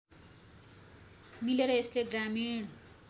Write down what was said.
मिलेर यसले ग्रामीण